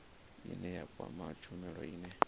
ine ya kwama tshumelo ine